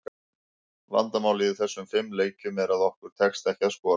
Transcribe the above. Vandamálið í þessum fimm leikjum, er að okkur tekst ekki að skora.